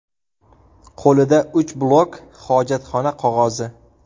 Qo‘lida uch blok hojatxona qog‘ozi.